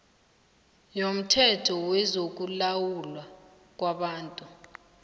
yomthetho wezokulawulwa kwabantu